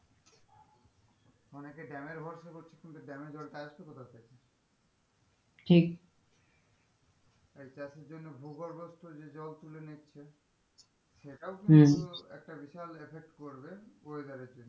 অনেকে dam এর ভরসা করছে কিন্তু dam এর জলটা আসবে কোথাথেকে? ঠিক এই চাষের জন্য ভূগর্ভস্থ যে জল তুলে নিচ্ছে সেটাও কিন্তু হম একটা বিশাল effect পড়বে weather এর জন্য